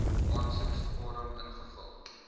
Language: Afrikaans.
aansoekvorm invul